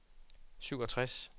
syvogtres